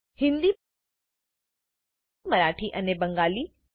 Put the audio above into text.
હિન્દી મરાઠી અને બંગાળી